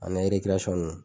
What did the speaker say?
Ani ninnu.